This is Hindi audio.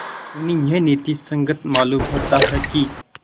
उन्हें यह नीति संगत मालूम होता है कि